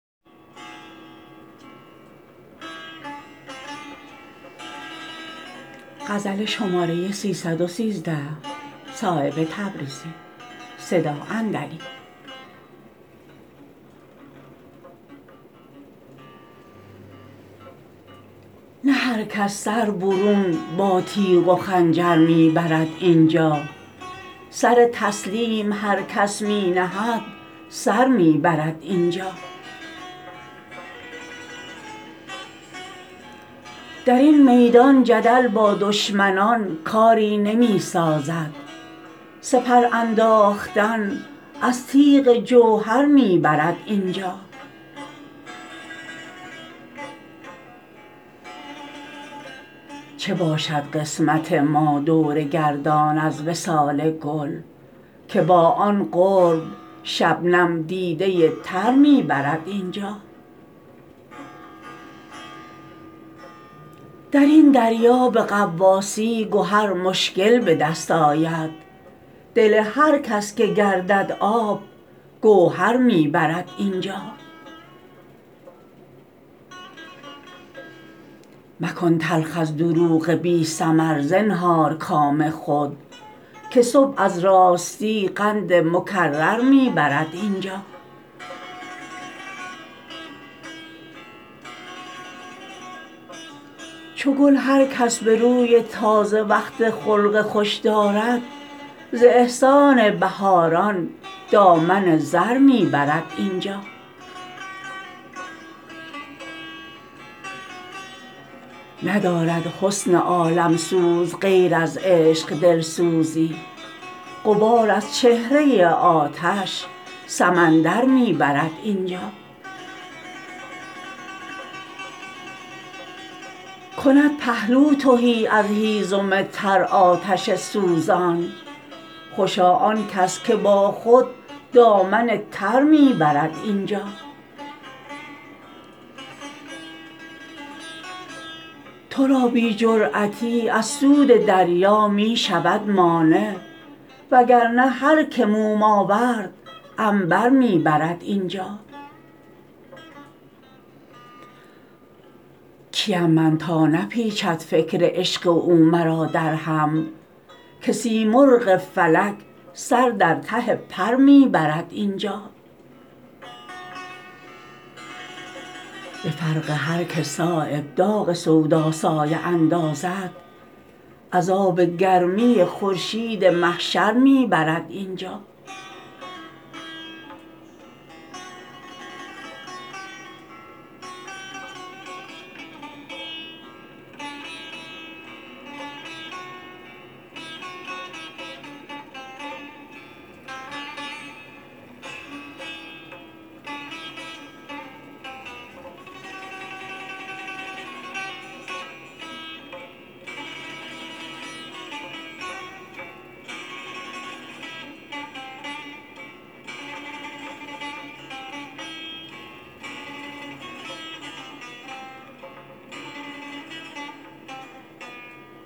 نه هر کس سر برون با تیغ و خنجر می برد اینجا سر تسلیم هر کس می نهد سر می برد اینجا درین میدان جدل با دشمنان کاری نمی سازد سپر انداختن از تیغ جوهر می برد اینجا چه باشد قسمت ما دور گردان از وصال گل که با آن قرب شبنم دیده تر می برد اینجا درین دریا به غواصی گهر مشکل به دست آید دل هر کس که گردد آب گوهر می برد اینجا مکن تلخ از دروغ بی ثمر زنهار کام خود که صبح از راستی قند مکرر می برد اینجا چو گل هر کس به روی تازه وقت خلق خوش دارد ز احسان بهاران دامن زر می برد اینجا ندارد حسن عالمسوز غیر از عشق دلسوزی غبار از چهره آتش سمندر می برد اینجا کند پهلو تهی از هیزم تر آتش سوزان خوشا آن کس که با خود دامن تر می برد اینجا ترا بی جرأتی از سود دریا می شود مانع وگرنه هر که موم آورد عنبر می برد اینجا کیم من تا نپیچد فکر عشق او مرا در هم که سیمرغ فلک سر در ته پر می برد اینجا به فرق هر که صایب داغ سودا سایه اندازد عذاب گرمی خورشید محشر می برد اینجا